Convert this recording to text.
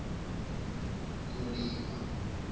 mulima